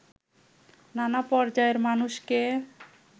নানা পর্যায়ের মানুষকে